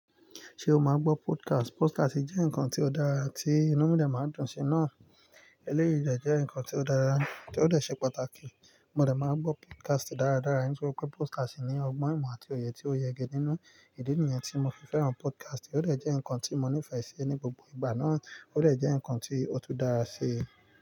Ṣé o máa ń gbọ́ podcast? Podcast jẹ́ nǹkan tió dára tí inú mi dè máa dùn sí. Náà ẹlẹ́yií dẹ̀ jẹ́ nǹkan tó dára, tí ó dè ṣe pàtàkì. Mo dẹ̀ máa ń gbọ́ podcast dáradára nítorí pé podcast ní ọgbọ́n ìmọ̀ àti òye tí ó yege nínú ìdí nìyẹn tí mo fi fẹ́ràn podcast. Ó dè jẹ́ nkan tí mo nífẹ̀ sí ní gbogbo ìgbà náà ó dè jẹ́ nkan tí ó tún dáa sí.